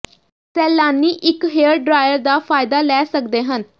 ਸੈਲਾਨੀ ਇੱਕ hair dryer ਦਾ ਫਾਇਦਾ ਲੈ ਸਕਦੇ ਹਨ